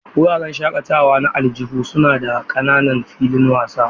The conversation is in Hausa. Wuraren shakatawa na aljihu suna da ƙananan filin wasa.